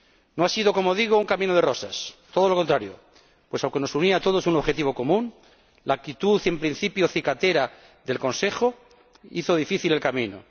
No ha sido, como digo, un camino de rosas todo lo contrario, pues, aunque nos unía a todos un objetivo común, la actitud en principio cicatera del Consejo hizo difícil el camino.